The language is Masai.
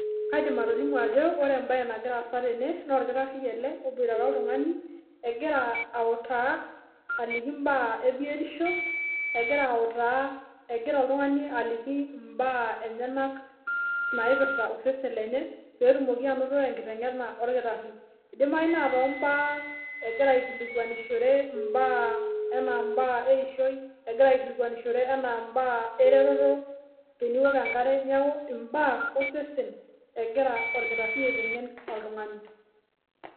Kaidim atolimu ajop ore embae nagira aasa tene naa orkitari oboitare oltungani egira autaa aliki mbaa ebiotisho , egira oltungani aliki mbaa enyenak naipirta osesen lenye petumoki anooto enkitengena orkitari , idimayu naa tombaa egira ikilikwanishore enaa imbaa eishoi egira aikilikwanishore anaa imbaa ereteto teniok enkare , niaku imbaa osesen egira orkitari aitengen oltungani.